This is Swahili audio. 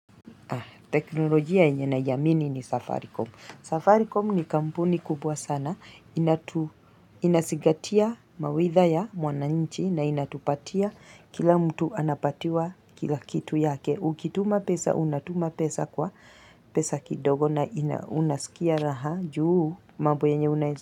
Teknolojia yenye naiamini ni Safaricom. Safaricom ni kampuni kubwa sana. Inazigatia mawitha ya mwana nchi na inatupatia kila mtu anapatiwa kila kitu yake. Ukituma pesa, unatuma pesa kwa pesa kidogo na inaunasikia raha juu mambo yanye unayeza.